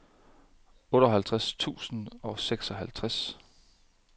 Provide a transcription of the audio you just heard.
otteoghalvtreds tusind og seksoghalvtreds